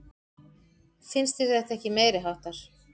Finnst þér þetta ekki meiriháttar?